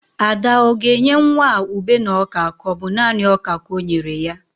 Ada o ga-enye nwa a ube na oka ka ọ bu nani ọka ka o nyere ya?